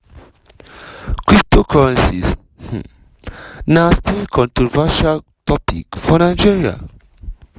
cryptocurrencies um na still controversial topic for nigeria.